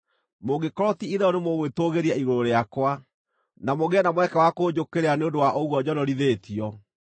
Mũngĩkorwo ti-itherũ nĩmũgwĩtũũgĩria igũrũ rĩakwa, na mũgĩe na mweke wa kũnjũkĩrĩra nĩ ũndũ wa ũguo njonorithĩtio,